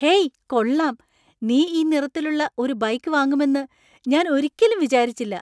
Hey, കൊള്ളാം! നീ ഈ നിറത്തിലുള്ള ഒരു ബൈക്ക് വാങ്ങുമെന്ന് ഞാൻ ഒരിക്കലും വിചാരിച്ചില്ല.